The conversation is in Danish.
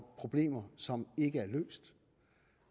problemer som ikke er løst